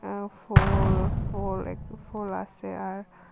আ ফুল ফুল একটি ফুল আসে আর--